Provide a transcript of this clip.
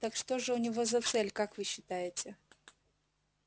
так что же у него за цель как вы считаете